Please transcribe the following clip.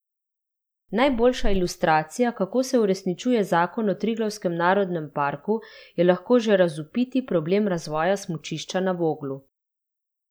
Najboljša ilustracija, kako se uresničuje zakon o Triglavskem narodnem parku, je lahko že razvpiti problem razvoja smučišča na Voglu.